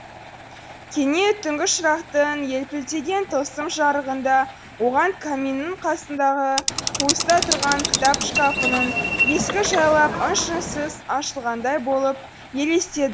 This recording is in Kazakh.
кенет түнгі шырақтың елпілдеген тылсым жарығында оған каминнің қасындағы қуыста тұрған кітап шкафының есігі жайлап ың шыңсыз ашылғандай болып елестеді